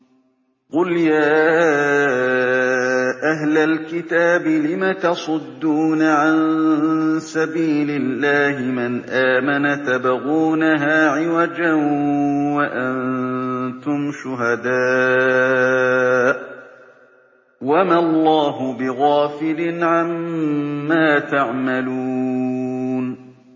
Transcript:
قُلْ يَا أَهْلَ الْكِتَابِ لِمَ تَصُدُّونَ عَن سَبِيلِ اللَّهِ مَنْ آمَنَ تَبْغُونَهَا عِوَجًا وَأَنتُمْ شُهَدَاءُ ۗ وَمَا اللَّهُ بِغَافِلٍ عَمَّا تَعْمَلُونَ